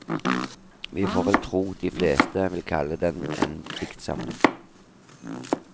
Vi får vel tro de fleste ville kalle den en diktsamling.